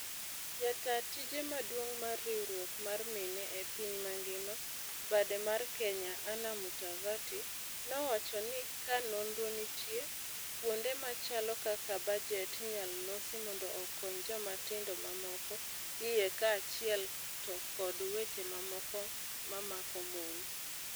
Jataa tije maduong mar riwruok mar mine e piny mangima, bade mar Kenya, Anna Mutavati nowacho ni ka nonro nitie, kuonde machalo kaka bajet inyalo losi mondo okony jomatindo mamako iye kaachiel to kod weche mamoko mamako mon.